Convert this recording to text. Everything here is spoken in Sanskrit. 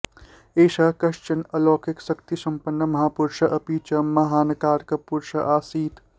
एषः कश्चन अलौकिकः शक्तिसम्पन्नः महापुरुषः अपि च महानाकारक पुरुषः आसीत्